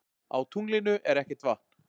Á tunglinu er ekkert vatn.